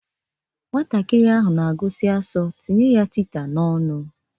Nwata ahụ na-agụsi asọ, tinye ya tita n'ọnụ!